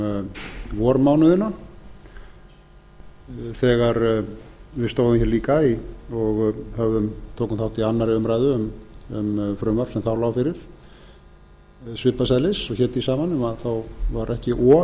um vormánuðina þegar við stóðum hér líka og tókum þátt í annarri umræðu um frumvarp sem þá lá fyrir svipaðs eðlis og hét því sama nema þá var ekki o